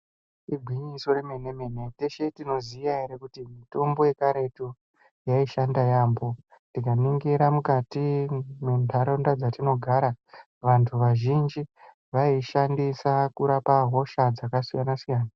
Igwinyiso yemene mene teshe tinoziya ere kuti mitombo yekaretu yaishanda yambo tikaningira mukati mwenharaunda dzatinogara vantu vazhinji vaiishandisa kurapa hosha dzakasiyana siyana.